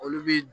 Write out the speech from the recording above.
Olu bi